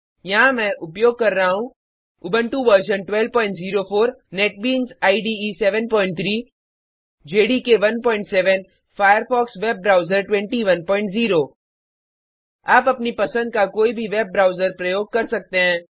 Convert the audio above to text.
यहाँ मैं उपयोग कर रहा हूँ Ubuntu version 1204 NetBeans IDE 73 JDK 17 Firefox web browser 210 आप अपनी पसंद का कोई भी वेब ब्रोउज़र प्रयोग कर सकते हैं